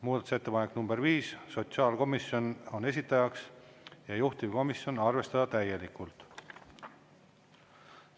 Muudatusettepanek nr 5, sotsiaalkomisjon on esitajaks ja juhtivkomisjon: arvestada täielikult.